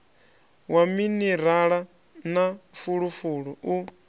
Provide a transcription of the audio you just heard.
wa minirala na fulufulu u